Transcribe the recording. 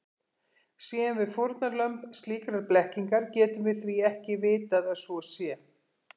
Séum við fórnarlömb slíkrar blekkingar getum við því ekki vitað að svo sé.